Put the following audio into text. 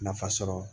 Nafa sɔrɔ